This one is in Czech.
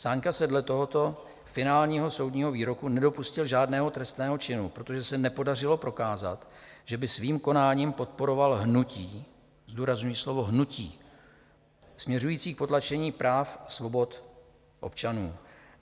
Sáňka se dle tohoto finálního soudního výroku nedopustil žádného trestného činu, protože se nepodařilo prokázat, že by svým konáním podporoval hnutí - zdůrazňuji slovo hnutí - směřující k potlačení práv a svobod občanů.